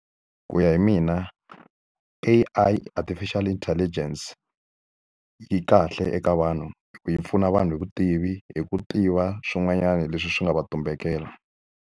Ku ya hi mina A_I artificial intelligence, yi kahle eka vanhu. Yi pfuna vanhu hi vutivi, hi ku tiva swin'wanyana leswi swi nga va tumbelela.